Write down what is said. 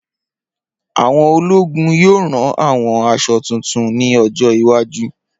Awọn ologun yoo ran awọn aṣọ tuntun ni ojo iwaju.